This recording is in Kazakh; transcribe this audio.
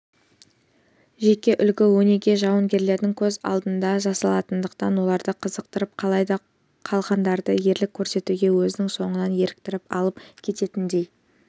жеке үлгі-өнеге жауынгерлердің көз алдында жасалатындықтан оларды қызықтырып қалай да қалғандарды ерлік көрсетуге өзінің соңынан еліктіріп алып кететіндей